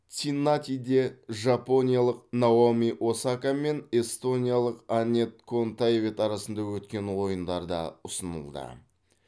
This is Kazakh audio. цинниннатиде жапониялық наоми осака мен эстониялық анетт контавейт арасында өткен ойындар да ұсынылды